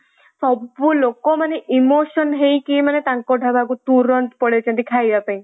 ସବୁ ଲୋକ ମାନେ emotion ହେଇକି ମାନେ ତାଙ୍କ ଢାବା କୁ ତୁରନ୍ତ ପଳେଇଚନ୍ତି ଖାଇବା ପାଇଁ ହେଲା।